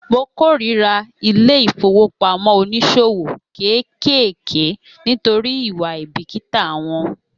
Mo kórira ilé ìfowópamọ́ oníṣòwò kéékèèké nítorí ìwà àìbìkítà wọn